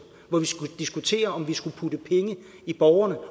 hvor vi skulle diskutere om vi skulle putte penge i borgerne